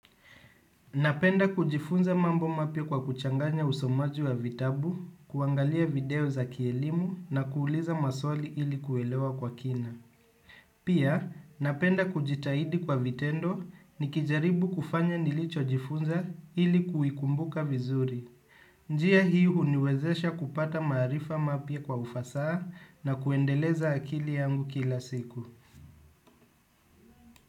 Napenda kujifunza mambo mapya kwa kuchanganya usomaji wa vitabu, kuangalia video za kielimu na kuuliza maswali ili kuelewa kwa kina. Pia, napenda kujitahidi kwa vitendo nikijaribu kufanya nilichojifunza ili kuikumbuka vizuri. Njia hii huniwezesha kupata maarifa mapya kwa ufasaha na kuendeleza akili yangu kila siku.